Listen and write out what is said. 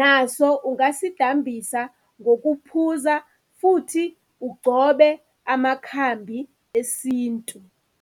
naso ungasidambisa ngokuphuza futhi ugcobe amakhambi esintu.